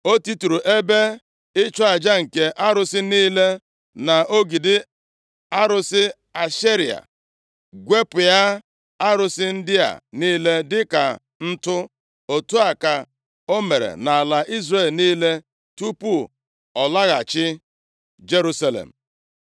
O titụrụ ebe ịchụ aja nke arụsị niile na ogidi arụsị Ashera, gwepịa arụsị ndị a niile dịka ntụ. Otu a ka o mere nʼala Izrel niile tupu ọ laghachi Jerusalem.